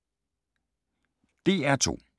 DR2